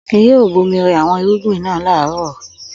Akin yóò bomi rẹ àwọn irúgbìn náà láàárọ̀.